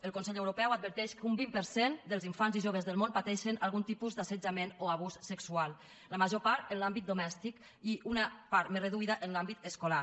el consell europeu adverteix que un vint per cent dels infants i joves del món pateixen algun tipus d’assetjament o abús sexual la major part en l’àmbit domèstic i una part més reduïda en l’àmbit escolar